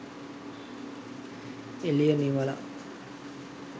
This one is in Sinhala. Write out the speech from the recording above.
එළිය නිවලා